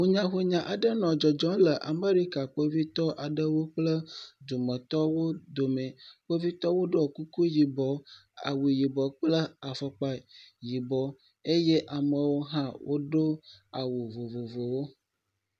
Huyahunya aɖe dzɔ le Amerika kpovitɔwo kple dumetɔwo dome. Kpovitɔwo ɖɔ kuku yibɔ, awu yibɔ kple afɔkpa yibɔ eye amewo hã woɖo awu vovovowo.